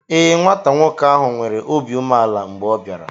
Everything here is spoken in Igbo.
Ee, nwata nwoke ahụ nwere obi umeala mgbe ọ bịara.